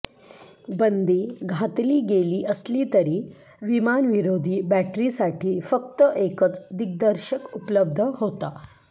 बंदी घातली गेली असली तरी विमानविरोधी बॅटरीसाठी फक्त एकच दिग्दर्शक उपलब्ध होता